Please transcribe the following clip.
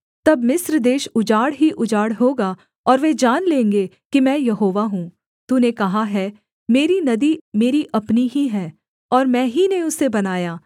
तब मिस्र देश उजाड़ ही उजाड़ होगा और वे जान लेंगे कि मैं यहोवा हूँ तूने कहा है मेरी नदी मेरी अपनी ही है और मैं ही ने उसे बनाया